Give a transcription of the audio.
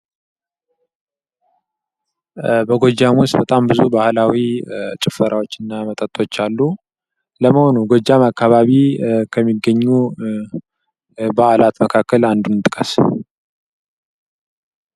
በጎጃም ውስጥ በጣም ብዙ ባህላዊ ጭፈራዎች እና መጠጦች አሉ ። ለመሆኑ ጎጃም አካባቢ ከሚገኙ በአላት መካከል አንዱን ጥቅስ?